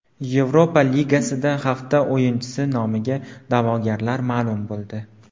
Yevropa Ligasida hafta o‘yinchisi nomiga da’vogarlar ma’lum bo‘ldi.